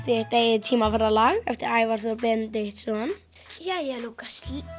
þitt eigið eftir Ævar Þór Benediktsson jæja Lúkas